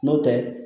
N'o tɛ